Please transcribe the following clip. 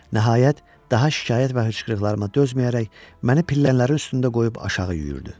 Nəhayət, daha şikayət və hıçqırıqlarıma dözməyərək məni pillələrin üstündə qoyub aşağı yüyürdü.